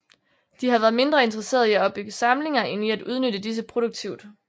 De har været mindre interesseret i at opbygge samlinger end i at udnytte disse produktivt